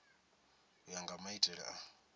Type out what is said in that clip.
u ya nga maitele a